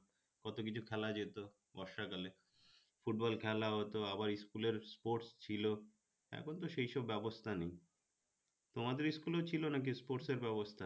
কতকিছু খেলা যেত বর্ষাকালে football খেলা হতো আবার school এর sports ছিল এখনতো সেইসব ব্যবস্থা নেই তোমাদের school এ ছিল নাকি sports এর ব্যবস্থা